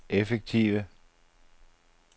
effektive